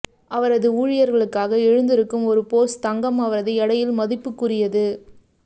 அவரது ஊழியர்களுக்காக எழுந்திருக்கும் ஒரு பொஸ் தங்கம் அவரது எடையில் மதிப்புக்குரியது